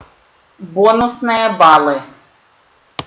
бонусная баллы